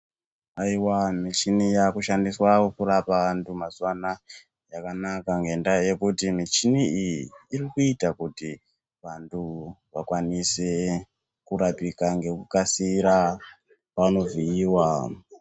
Aiwa michini yakushandiswawo kurapa vantu mazuwa anaya yakanaka ngentaa yekuti michini iyi irikuita kuti vantu vakwanise kurapika ngekukasira vanovhiiwa.